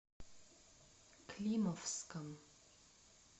климовском